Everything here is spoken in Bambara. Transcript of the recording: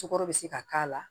Cokɔrɔ be se ka k'a la